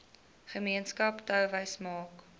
gemeenskap touwys maak